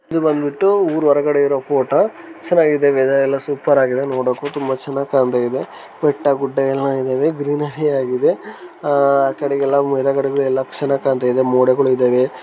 ಇದು ಬಂದಬಿಟು ಊರು ಹೊರಗಡೆ ಇರೊ ಫೋಟೋ ಚನ್ನಾಗಿದೆ ವೆದರ್ ಎಲ್ಲ ಸೂಪರ್ ಆಗಿದೆ ನೋಡ್ಕು ತುಂಬ ಚನ್ನಾಗಿ ಕಾಣ್ತಾಯಿದೆ ಬೆಟ್ಟ ಗುಡ್ಡ ಎಲ್ಲ ಇದವೆ ಗ್ರೀನ್ರಿ ಆಗಿದೆ ಆಕಡೆಗೆ ಎಲ್ಲ ಮರಗಳು ಇವೆ ಲಕ್ಷ ಕಾಣ್ತಾಯಿದೆ ಮೋಡಗಳು ಇದವೆ .]